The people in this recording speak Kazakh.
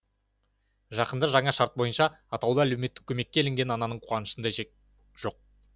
жақында жаңа шарт бойынша атаулы әлеуметтік көмекке іліккен ананың қуанышында шек жоқ